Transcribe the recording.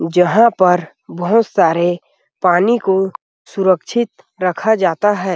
जहाँ पर बहुत सारे पानी को सुरक्षित रखा जाता है।